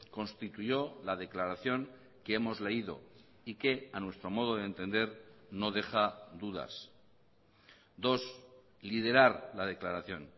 constituyó la declaración que hemos leído y que a nuestro modo de entender no deja dudas dos liderar la declaración